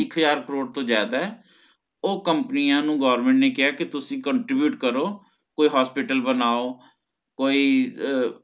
ਇਕ ਹਾਜ਼ਰ ਕਰੋੜ ਤੋਂ ਜ਼ਿਆਦਾ ਹੈ ਓ ਕੰਪਨੀਆਂ ਨੂੰ government ਨੇ ਕਿਹਾ ਕੇ ਤੁਸੀਂ contribute ਕਰੋ ਕੋਈ hospital ਬਣਾਓ ਕੋਈ ਅਹ